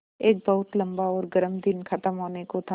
एक बहुत लम्बा और गर्म दिन ख़त्म होने को था